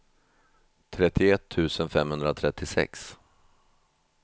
trettioett tusen femhundratrettiosex